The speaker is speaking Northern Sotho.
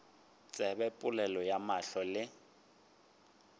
tsebe polelo ya mahlo le